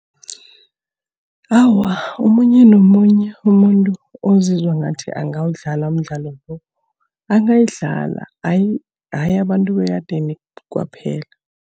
Awa, omunye nomunye umuntu ozizwa ngathi angawudlala umdlalo lo, angayidlala. Hayi, hayi abantu bekadeni kwaphela.